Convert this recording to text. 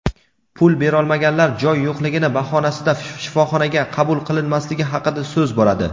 pul berolmaganlar joy yo‘qligini bahonasida shifoxonaga qabul qilinmasligi haqida so‘z boradi.